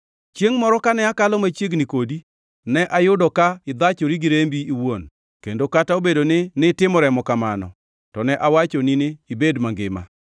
“ ‘Chiengʼ moro kane akalo machiegni kodi ne ayudo ka ithachori gi rembi iwuon kendo kata obedo ni nitimo remo kamano to ne awachoni ni ibed mangima.